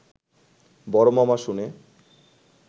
বড় মামা শুনে